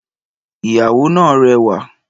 Ìyàwó náà rẹwà